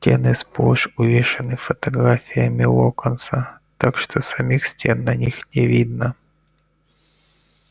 стены сплошь увешаны фотографиями локонса так что самих стен на них не видно